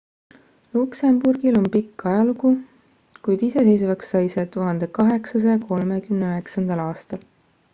luksemburgil on pikk ajalugu kuid iseseisvaks sai see 1839 aastal